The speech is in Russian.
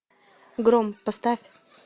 гром поставь